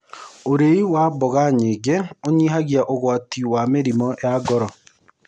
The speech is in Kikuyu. Ũrĩĩ wa mmboga nyĩngĩ ũnyĩhagĩa ũgwatĩ wa mĩrĩmũ ya ngoro